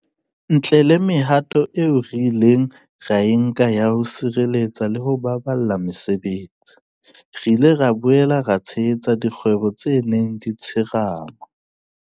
Ntle le mehato eo re ileng ra e nka ya ho sireletsa le ho baballa mesebetsi, re ile ra boela ra tshehetsa dikgwebo tse neng di tsherema.